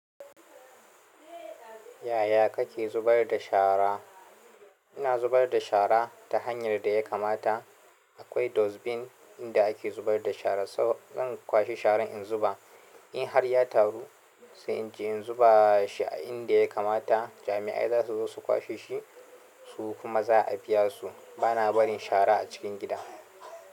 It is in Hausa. Yaya kake zubar da shara? Ina zubar da shara ta hanyar da ya kamata. Akwai dustbin inda ake zubar da shara saboda in kwashe sharan in zuba. In har ya taru sai in je in zuba shi a inda ya kamata jami'ai za su zo su kwashe shi su kuma za a biya su. Bana barin shara a cikin gida.